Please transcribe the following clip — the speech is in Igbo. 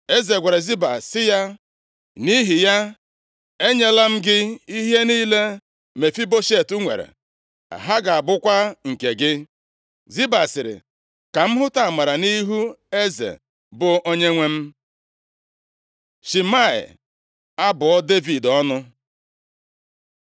Eze gwara Ziba sị ya, “Nʼihi ya, enyela m gị ihe niile Mefiboshet nwere, ha ga-abụkwa nke gị.” Ziba sịrị, “Ka m hụta amara nʼihu eze, bụ onyenwe m.” Shimei abụọ Devid ọnụ